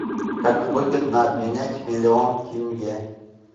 как выгодно обменять миллион тенге